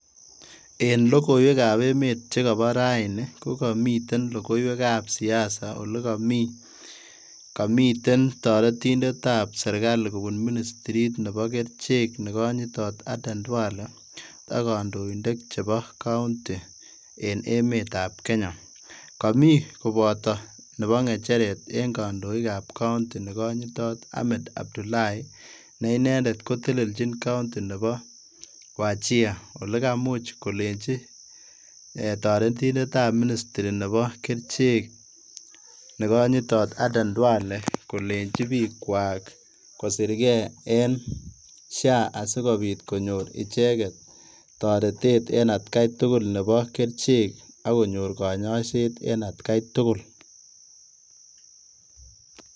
En logoiwekab emet chekopo raini kokomiten logoiwekab siasa olekami, komiten toretindetab serikali kupun Ministrit nebo kerichek nekonyitot Aden Duale akondoinik chebo county en emetab Kenya, Komii koboto nepo ng'echeret en kandoikab County nekonyitot Ahmed Abdullahi, ne inendet koteleljin county nebo Wajia olekamuch kolenji toretindetab Ministry nebo kerichek nekonyitot Aden Duale kolenji bikwak kosirke en SHA asikobit konyor icheket toretet en atkai tugul nebo kerichek akonyor kanyaiset en atkai tugul.